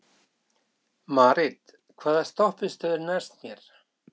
Marit, hvaða stoppistöð er næst mér?